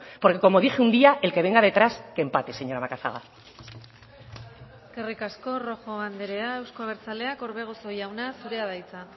porque como dije un día el que venga detrás que empate señora macazaga eskerrik asko rojo andrea euzko abertzaleak orbegozo jauna zurea da hitza